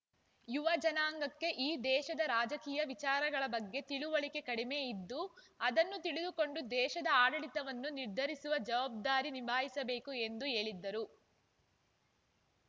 ಯುವಜನಾಂಗಕ್ಕೆ ಈ ದೇಶದ ರಾಜಕೀಯ ವಿಚಾರಗಳ ಬಗ್ಗೆ ತಿಳವಳಿಕೆ ಕಡಿಮೆ ಇದ್ದು ಅದನ್ನು ತಿಳಿದುಕೊಂಡು ದೇಶದ ಆಡಳಿತವನ್ನು ನಿರ್ಧರಿಸುವ ಜವಾಬ್ದಾರಿ ನಿಭಾಯಿಸಬೇಕು ಎಂದು ಹೇಳಿದರು